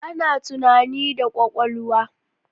Ana tunani da kwakwalwa